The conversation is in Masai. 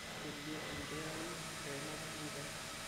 yiele enkeari eilata eker